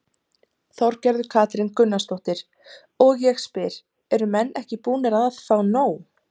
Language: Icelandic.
Þorgerður Katrín Gunnarsdóttir: Og ég spyr, eru menn ekki búnir að fá nóg?